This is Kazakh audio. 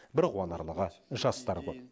бір қуанарлығы жастар көп